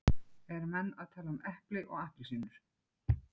Eru menn að tala um epli og appelsínur?